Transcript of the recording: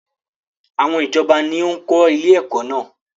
Àwọn ìjọba ni ó ń kọ́ ilé ẹ̀kọ́ náà.